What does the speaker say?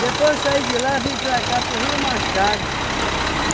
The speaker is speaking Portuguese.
Depois saí de lá, vim para cá, para o Rio Machado.